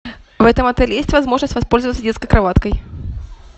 в этом отеле есть возможность воспользоваться детской кроваткой